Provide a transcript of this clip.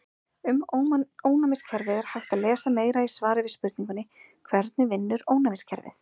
Um ónæmiskerfið er hægt að lesa meira í svari við spurningunni Hvernig vinnur ónæmiskerfið?